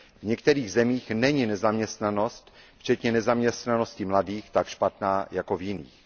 V některých zemích není nezaměstnanost, včetně nezaměstnanosti mladých, tak špatná jako v jiných.